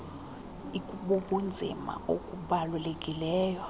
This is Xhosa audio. ik ibubunzima obubalulekileyo